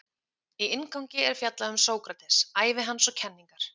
Í inngangi er fjallað um Sókrates, ævi hans og kenningar.